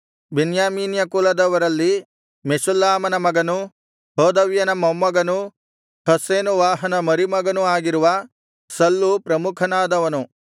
ಬೆನ್ಯಾಮೀನ್ಯ ಕುಲದವರಲ್ಲಿ ಮೆಷುಲ್ಲಾಮನ ಮಗನೂ ಹೋದವ್ಯನ ಮೊಮ್ಮಗನೂ ಹಸ್ಸೆನುವಾಹನ ಮರಿಮಗನೂ ಆಗಿರುವ ಸಲ್ಲು ಪ್ರಮುಖನಾದವನು